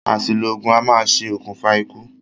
Àsìlò ògùn a maá ṣe òkùnfà ikú